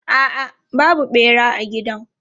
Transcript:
A'a, babu ɓera a gidan.